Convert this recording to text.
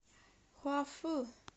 хуафу